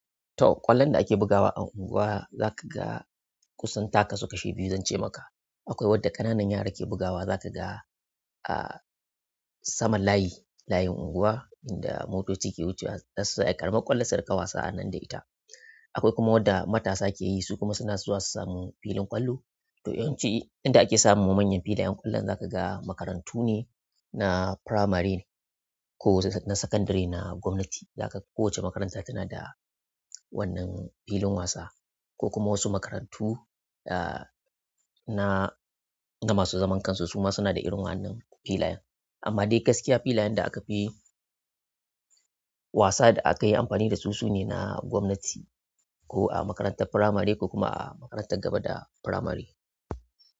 To, ƙwallon da ake bugawa a unguwa za ka ga kusan taka su kashi biyu zan ce maka. Akwai wadda ƙananan yara ke bugawa za ka ga a saman layi, layin unguwa inda motoci ke wucewa, za su ƙaramin ƙwallonsu su riƙa wasa a nan da ita. Akwai kuma wadda matasa ke yi su kuma suna zuwa su sami filin ƙwallo. To yawanci inda ake samu manyan filayen ƙwallon za ka ga makarantu ne na firamare ne ko na sakandare na gwamnati. Zaka ga kowace makaranta tana da wannan filin wasa ko kuma wasu makarantu ah na masu zaman kansu suma suna da irin wannan filayen. Amma dai gaskiya filayen da aka fi wasa da aka yi amfani da su su ne na gwamnati ko a makarantar firamare ko kuma a makarantar gaba da firamare.